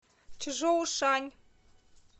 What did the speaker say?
чжоушань